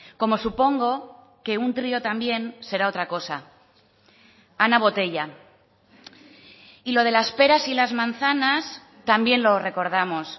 como supongo que un trío también será otra cosa ana botella y lo de las peras y las manzanas también lo recordamos